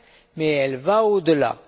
mais elle va au delà.